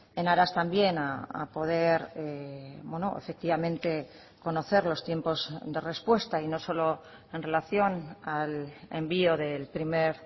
en aras también a poder efectivamente conocer los tiempos de respuesta y no solo en relación al envío del primer